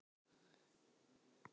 Gæfan er völtust vina, en náð